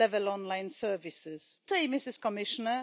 în statul în care sunt rezidenți, ci și în alte state.